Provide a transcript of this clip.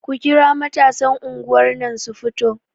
Ku kira matasan anguwar nan su fito!